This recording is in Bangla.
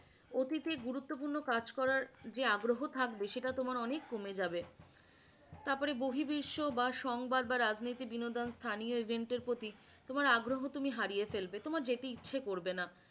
অতীতে গুরুত্বপূর্ণ কাজ করার যে আগ্রহ থাকবে সেটা তোমার অনেক কমে যাবে তারপরে বহি বিশ্ব বা সংবার বা রাজনীতি বিনোদন স্থানীয় agent এর প্রতি তোমার আগ্রহ তুমি হারিয়ে ফেলবে, তোমার যেতে ইচ্ছে করবে না